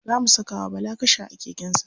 Za mu saka wa bala kasha a keken sa.